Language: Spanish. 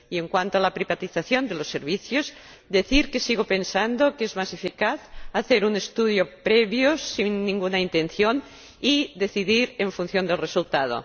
Y, en cuanto a la privatización de los servicios, decir que sigo pensando que es más eficaz hacer un estudio previo, sin ninguna intención, y decidir en función del resultado.